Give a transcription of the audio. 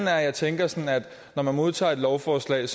er at jeg tænker at når man modtager et lovforslag